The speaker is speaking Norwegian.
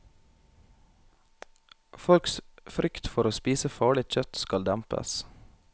Folks frykt for å spise farlig kjøtt skal dempes.